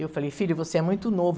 Eu falei, filho, você é muito novo.